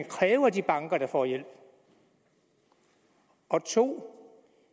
kræve af de banker der får hjælp og 2